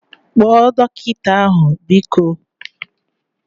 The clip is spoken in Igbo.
Kpọọ dọkịta ahu biko!